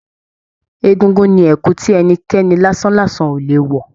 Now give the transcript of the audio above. Egúngún ní ẹkù tí ẹnikẹ́ni lasanlasan o le wọ.